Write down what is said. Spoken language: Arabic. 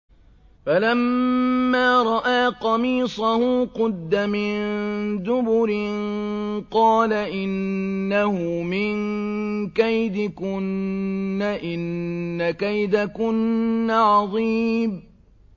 فَلَمَّا رَأَىٰ قَمِيصَهُ قُدَّ مِن دُبُرٍ قَالَ إِنَّهُ مِن كَيْدِكُنَّ ۖ إِنَّ كَيْدَكُنَّ عَظِيمٌ